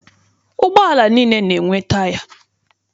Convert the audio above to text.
Ụgbọala niile na-enwe taya.